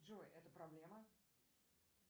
джой это проблема